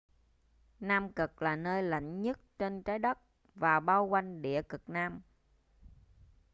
nam cực là nơi lạnh nhất trên trái đất và bao quanh địa cực nam